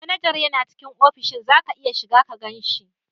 Manajar yana cikin ofishin, za ka iya shiga ka gan shi.